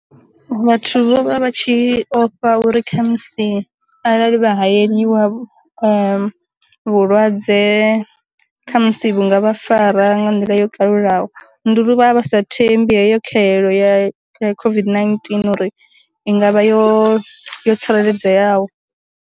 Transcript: Vhathu vho vha vha tshi ofha uri kha musi arali vha hayeliwa vhu lwadze kha musi vhunga vha fara nga nḓila yo kalulaho, nduri vhavha vhasa thembi heyo khahelo ya COVID-19 uri i ngavha yo yo tsireledzeaho.